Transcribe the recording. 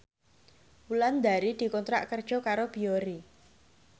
Wulandari dikontrak kerja karo Biore